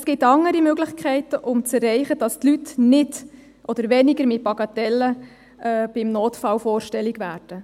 Es gibt andere Möglichkeiten, um zu erreichen, dass Leute nicht oder weniger mit Bagatellen beim Notfall vorstellig werden.